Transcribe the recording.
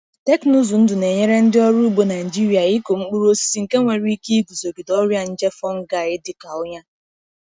Teknụzụ ndụ na-enyere ndị ọrụ ugbo cs] Nigeria ịkụ mkpụrụ osisi nke nwere ike iguzogide ọrịa nje fungi dị ka ọnya.